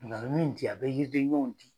Ŋa min di a be yidi ɲɔɔn